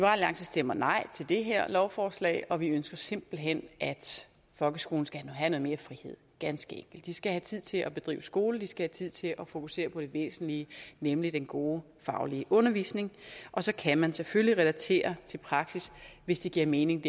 alliance stemmer nej til det her lovforslag og vi ønsker simpelt hen at folkeskolen skal have noget mere frihed ganske enkelt de skal have tid til at bedrive skole de skal have tid til at fokusere på det væsentlige nemlig den gode faglige undervisning og så kan man selvfølgelig relatere til praksis hvis det giver mening